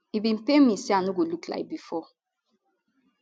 e bin pain me say i no go look like bifor